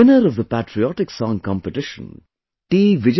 The winner of the patriotic song competition, T